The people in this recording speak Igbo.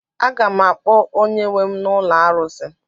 A ga m akpọ onye nwe m na ụlọ arụsị.